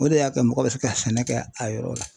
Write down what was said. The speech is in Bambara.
O de y'a to mɔgɔ bɛ se ka sɛnɛ kɛ a yɔrɔ la .